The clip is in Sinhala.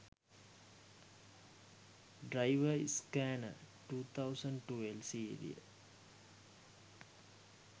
driver scanner 2012 serial